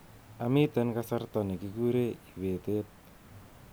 Amiten kasartaab nikikure ibetet